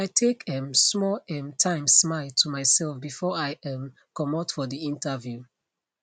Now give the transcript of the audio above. i take um small um timesmile to myself before i um comot for the interview